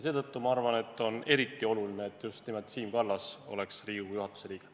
Seetõttu ma arvan, et on eriti oluline, et just nimelt Siim Kallas oleks Riigikogu juhatuse liige.